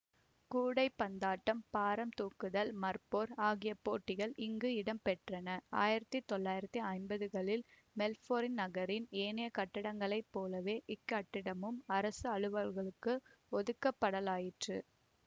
கூடைப்பந்தாட்டம் பாரம்தூக்குதல் மற்போர் ஆகிய போட்டிகள் இங்கு இடம்பெற்றன ஆயிரத்தி தொள்ளாயிரத்தி ஐம்பதுகளில் மெல்பேர்ண் நகரின் ஏனைய கட்டிடங்களைப் போலவே இக்கட்டிடமும் அரச அலுவல்களுக்கு ஒதுக்கப்படலாயிற்று